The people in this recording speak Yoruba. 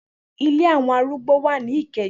Ile awon arùgbọ wa ni Ikeja.